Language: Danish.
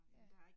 Ja